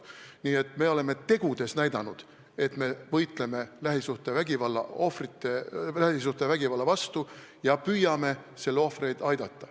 Nii et me oleme tegudega näidanud, et me võitleme lähisuhtevägivalla vastu ja püüame selle ohvreid aidata.